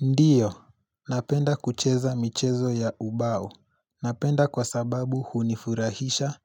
Ndiyo, napenda kucheza michezo ya ubao. Napenda kwa sababu hunifurahisha